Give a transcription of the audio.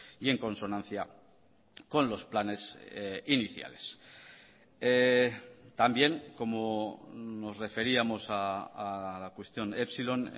y en consonancia con los planes iniciales también como nos referíamos a la cuestión epsilon